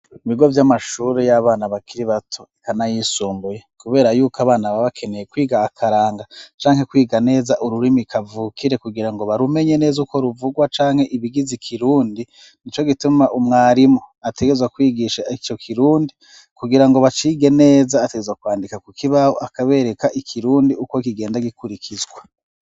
ibigo vy'amashuri y'abana bakiri bato, eka n'ayisumbuye, kubera yuko abana baba bakeneye kwiga akaranga canke kwiga neza ururimi kavukire, kugira ngo barumenye neza uko ruvugwa, canke ibigize ikirundi, n'ico gituma umwarimu ategerezwa kwigisha ico kirundi kugira ngo bacige neza, ategerezwa kwandika ku kibaho akabereka ikirundi uko kigenda gikurikizwa.